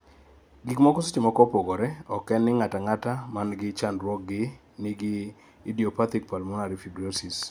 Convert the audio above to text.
Gikmoko sechemoko opogore, oken ni ng'ata ng'ata gi chadnruoge gi nigi idiopathic pulmonary fibrosis